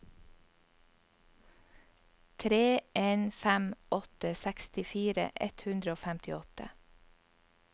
tre en fem åtte sekstifire ett hundre og femtiåtte